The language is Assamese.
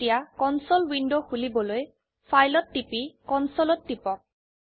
এতিয়া কনসোল উইন্ডো খুলিবলৈ ফাইল ত টিপি কনচলে ত টিপক